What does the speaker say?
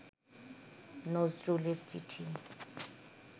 নজরুলের চিঠি